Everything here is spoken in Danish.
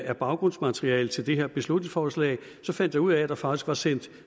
af baggrundsmaterialet til det her beslutningsforslag fandt jeg ud af at der faktisk er sendt